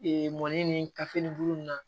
mɔni ni kafe nin bulu nin na